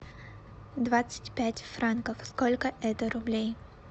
двадцать пять франков сколько это рублей